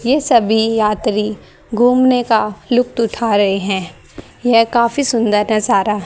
ये सभी यात्री घूमने का लुप्त उठा रहे हैं यह काफी सुंदर नजारा--